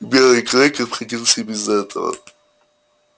белый клык обходился без этого